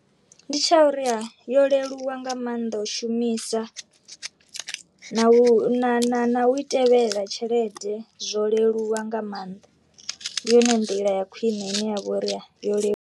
Ndi tsha uri ya yo leluwa nga mannḓa u shumisa, na u na u tevhela tshelede zwo leluwa nga maanḓa ndi yone nḓila ya khwine ine ya vhori yo lelu.